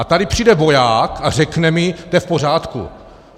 A tady přijde voják a řekne mi: To je v pořádku.